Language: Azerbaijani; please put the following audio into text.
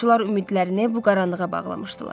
Yolçular ümidlərini bu qaranlığa bağlamışdılar.